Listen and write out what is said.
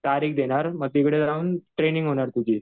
तारीख देणार मग तिकडे जाऊन ट्रेनींग होणार तुझी.